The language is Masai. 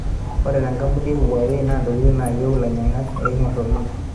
Ore te kampuni e Huawei na intokitin nayieu ilainyang'ak eingor oleng.